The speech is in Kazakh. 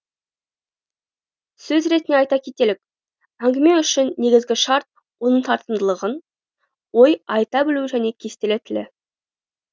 сөз ретінде айта кетелік әңгіме үшін негізгі шарт оның тартымдылығын ой айта білуі және кестелі тілі